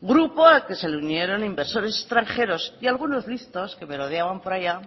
grupo al que se le unieron inversores extranjeros y algunos listos que merodeaban por allá